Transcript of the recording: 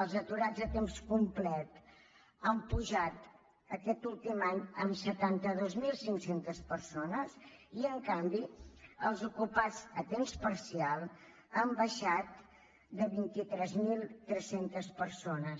els aturats a temps complet han pujat aquest últim any en setanta dos mil cinc cents persones i en canvi els ocupats a temps parcial han baixat de vint tres mil tres cents persones